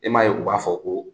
E m'a ye u b'a fɔ ko